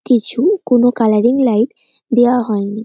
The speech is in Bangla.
কিছু কোন কালারিং লাইট দেওয়া হয়নি।